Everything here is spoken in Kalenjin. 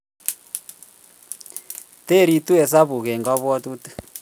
Toritu esabuk eng' kabwotite